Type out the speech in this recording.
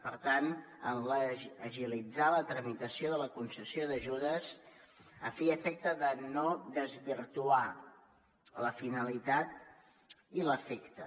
per tant en agilitzar la tramitació de la concessió d’ajudes a fi i efecte de no desvirtuar la finalitat i l’efecte